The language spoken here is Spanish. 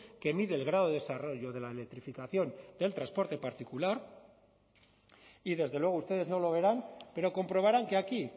que mide el grado de desarrollo de la electrificación del transporte particular y desde luego ustedes no lo verán pero comprobarán que aquí